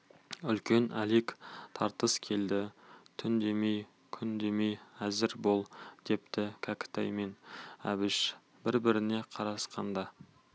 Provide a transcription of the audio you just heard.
үлкен әлек тартыс келді түн демей күн демей әзір бол депті кәкітай мен әбіш бір-біріне қарасқанда